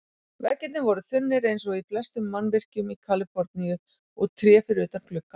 Veggirnir voru þunnir eins og í flestum mannvirkjum í Kaliforníu, og tré fyrir utan gluggann.